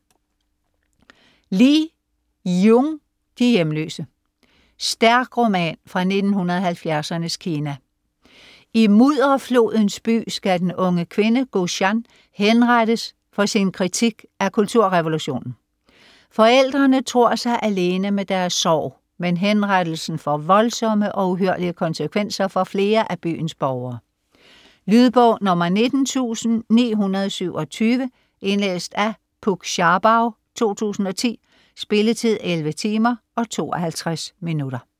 Li, Yiyun: De hjemløse Stærk roman fra 1970'ernes Kina; i Mudderflodens By skal den unge kvinde Gu Shan henrettes for sin kritik af Kulturrevolutionen. Forældrene tror sig alene med deres sorg, men henrettelsen får voldsomme og uhyrlige konsekvenser for flere af byens borgere. Lydbog 19927 Indlæst af Puk Scharbau, 2010. Spilletid: 11 timer, 52 minutter.